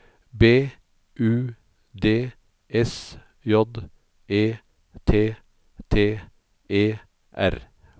B U D S J E T T E R